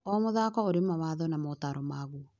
O mũthako ũrĩ mawatho na motaaro maguo.